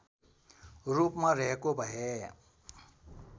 रूपमा रहेको भए